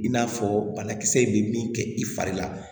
I n'a fɔ banakisɛ in bɛ min kɛ i fari la